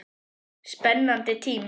Spennandi tímar?